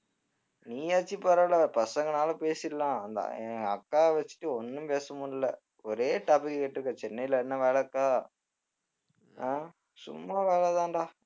நீயாச்சும் பரவாயில்லை பசங்கனாலும் பேசிடலாம் அந்த என் அக்காவை வச்சிட்டு ஒண்ணும் பேச முடியலை ஒரே topic கேட்டுட்டிருக்கா சென்னையில என்ன வேலை இருக்கா அஹ் சும்மா வேலைதான்டா